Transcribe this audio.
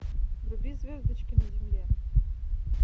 вруби звездочки на земле